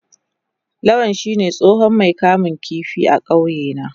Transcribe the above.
Lawal shine tsohon Mai kamun kifi a kauyena.